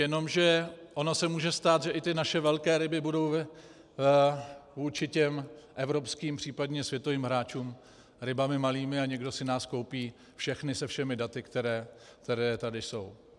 Jenomže ono se může stát, že i ty naše velké ryby budou vůči těm evropským, případně světovým hráčům rybami malými a někdo si nás koupí všechny se všemi daty, která tady jsou.